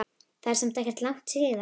Það er samt ekkert langt síðan.